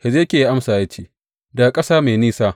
Hezekiya ya amsa ya ce, Daga ƙasa mai nisa.